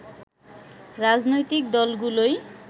রাজনৈতিক দলগুলোই